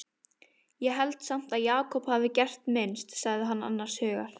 Ég held samt að Jakob hafi gert minnst, sagði hann annars hugar.